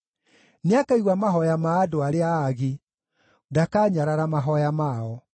Nĩakaigua mahooya ma andũ arĩa aagi; ndakanyarara mahooya mao.